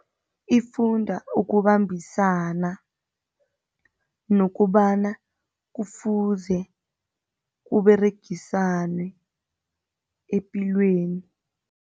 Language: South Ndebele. Ifunda ukubambisana nokobana kufuze kuberegiswane epilweni.